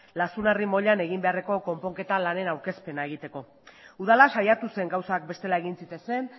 lazunarri moilan egin beharreko konponketa lanean aurkezpena egiteko udala saiatu zen gauzak bestela egin zitezen